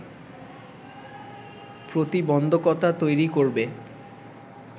প্রতিবন্ধকতা তৈরি করবে